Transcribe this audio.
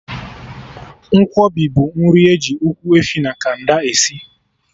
Nkwobi bụ nri eji Ụkwụ efi na canda esi